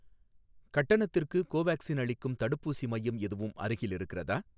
கட்டணத்திற்கு கோவேக்சின் அளிக்கும் தடுப்பூசி மையம் எதுவும் அருகில் இருக்கிறதா?